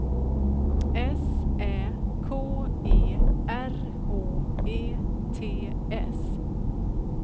S Ä K E R H E T S